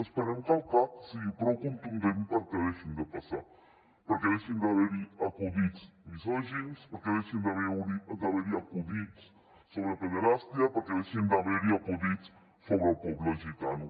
esperem que el cac sigui prou contundent perquè deixin de passar perquè deixin d’haver hi acudits misògins perquè deixin d’haver hi acudits sobre pederàstia perquè deixin d’haver hi acudits sobre el poble gitano